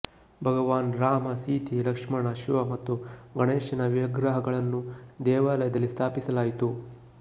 ಭಗವಾನ್ ರಾಮ ಸೀತೆ ಲಕ್ಷ್ಮಣ ಶಿವ ಮತ್ತು ಗಣೇಶನ ವಿಗ್ರಹಗಳನ್ನೂ ದೇವಾಲಯದಲ್ಲಿ ಸ್ಥಾಪಿಸಲಾಯಿತು